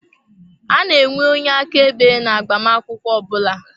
A na-enwe onye aka ebe na agbamakwụkwọ ọbula.